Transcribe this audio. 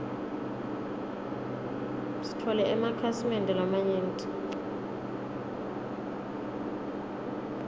sitfole emakhasi mende lamanyenti